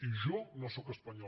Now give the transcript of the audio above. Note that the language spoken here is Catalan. i jo no sóc espanyol